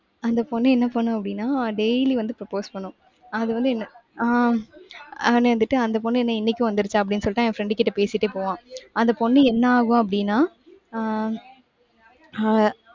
அந்த பொண்ணு என்ன பண்ணும் அப்படின்னா, daily வந்து propose பண்ணும். அது வந்து என்ன? ஆஹ் ஆனா இருந்துட்டு அந்த பொண்ணு என்ன இன்னைக்கு வந்திடுச்சா? அப்படின்னு சொல்லிட்டு, அவன் friend கிட்ட பேசிட்டே போவான். அந்த பொண்ணு என்ன ஆகும்? அப்படின்னா ஆஹ் ஆஹ்